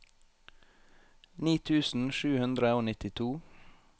ni tusen sju hundre og nittito